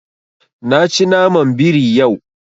Na ci naman biri yau.